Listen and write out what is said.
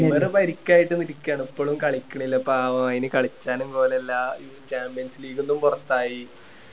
Neymar പരിക്കായിട്ട് ഇരിക്കയാണ് ഇപ്പളും കളിക്കണില്ല പാവം അയിന് കളിച്ചാലും കോലം ഇല്ലാ champions league ന്നും പൊറത്ത് ആയി